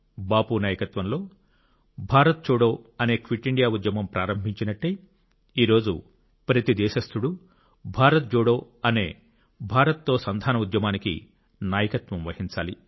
బాపు నాయకత్వంలో భారత్ చోడో అనే క్విట్ ఇండియా ఉద్యమం ప్రారంభించినట్టే ఈ రోజు ప్రతి దేశస్థుడు భారత్ జోడో అనే భారత్ తో సంధాన ఉద్యమానికి నాయకత్వం వహించాలి